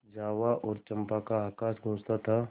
जावा और चंपा का आकाश गँूजता था